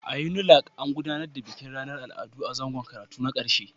A Unilag, an gudanar da bikin ranar Al'adu a zangon karatu na ƙarshe